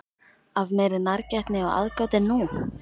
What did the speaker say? Af meiri nærgætni og aðgát en nú?